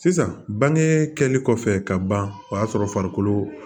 Sisan bange kɛlen kɔfɛ ka ban o y'a sɔrɔ farikolo